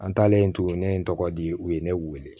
An taalen to yen ne ye n tɔgɔ di u ye ne wele